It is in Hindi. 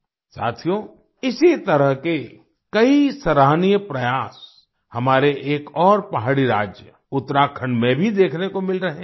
साथियो इसी तरह के कई सराहनीय प्रयास हमारे एक और पहाड़ी राज्य उत्तराखंड में भी देखने को मिल रहे हैं